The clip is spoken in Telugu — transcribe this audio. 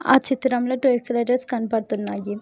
ఆ చిత్రంలో టు ఎక్స్ లెటర్స్ కనబడుతున్నాయి.